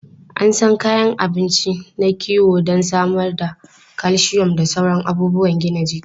An san kayan abinci na kiwo don samar da calcium da sauran abubuwan gina jiki.